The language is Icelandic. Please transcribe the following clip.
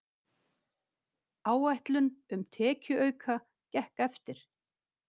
Áætlun um tekjuauka gekk eftir